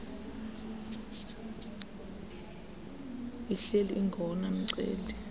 ihleli ingowona mceli